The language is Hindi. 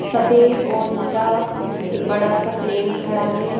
सफेद और नीला एक बड़ा सा प्लेन खड़ा है।